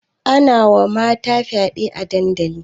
Ana wa mata fyaɗe a dandali